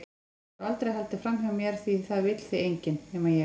Þú hefur aldrei haldið framhjá mér því það vill þig enginn- nema ég.